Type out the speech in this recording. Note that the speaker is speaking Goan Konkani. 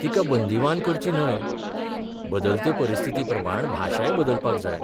तिका बंदिवान करची न्हय बदलते परिस्थितीप्रमाण भाशाय बदलपाक जाय.